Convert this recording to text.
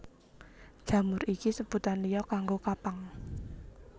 Jamur iku sebutan liya kanggo kapang